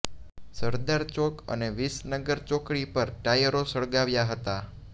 સરદાર ચોક અને વિસનગર ચોકડી પર ટાયરો સળગાવ્યા હતા